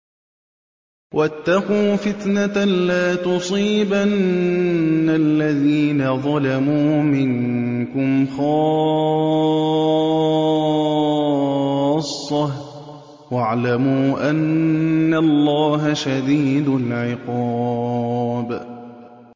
وَاتَّقُوا فِتْنَةً لَّا تُصِيبَنَّ الَّذِينَ ظَلَمُوا مِنكُمْ خَاصَّةً ۖ وَاعْلَمُوا أَنَّ اللَّهَ شَدِيدُ الْعِقَابِ